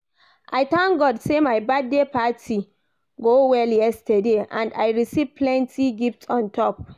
I thank God say my birthday party go well yesterday and I receive plenty gift on top